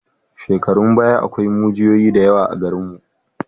Shekarun baya akwai mujiyoyi da yawa a garinmu.